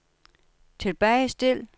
tilbagestil